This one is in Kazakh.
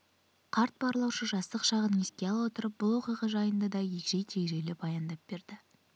қарт барлаушы жастық шағын еске ала отырып бұл оқиға жайында да егжей-тегжейлі баяндап берді